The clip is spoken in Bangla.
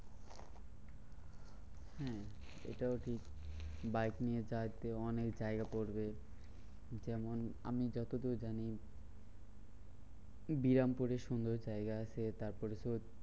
হম এটাও ঠিক বাইক নিয়ে যাইতে অনেক জায়গা পরবে। যেমন আমি যতদূর যানি বিরামপুরে সুন্দর জায়গা আছে। তারপরে তোর